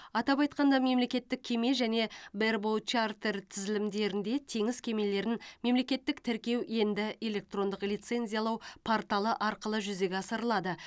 атап айтқанда мемлекеттік кеме және бербоут чартер тізілімдерінде теңіз кемелерін мемлекеттік тіркеу енді электрондық лицензиялау порталы арқылы жүзеге асырылады